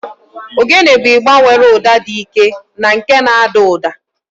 Ogene bụ igba nwere ụda dị ike na nke na-ada ụda.